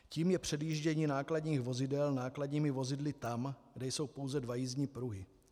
Tím je předjíždění nákladních vozidel nákladními vozidly tam, kde jsou pouze dva jízdní pruhy.